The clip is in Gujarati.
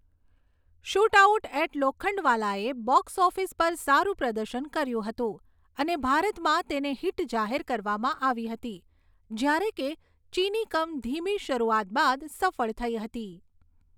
શૂટઆઉટ એટ લોખંડવાલાએ બોક્સ ઓફિસ પર સારું પ્રદર્શન કર્યું હતું અને ભારતમાં તેને હિટ જાહેર કરવામાં આવી હતી જ્યારે કે ચિની કમ ધીમી શરૂઆત બાદ સફળ થઈ હતી.